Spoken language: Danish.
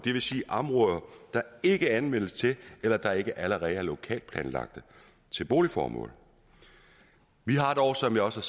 der ikke anvendes til eller der ikke allerede er lokalt planlagte til boligformål vi har dog som jeg også